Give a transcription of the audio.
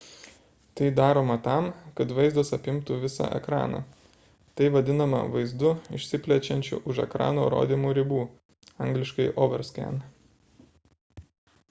tai daroma tam kad vaizdas apimtų visą ekraną. tai vadinama vaizdu išsiplečiančiu už ekrano rodymo ribų angl. overscan